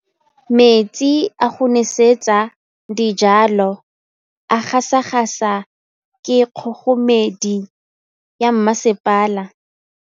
Metsi a go nosetsa dijalo a gasa gasa ke kgogomedi ya masepala.